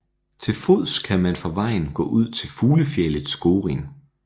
Til fods kan man fra vejen gå ud til fuglefjeldet Skorin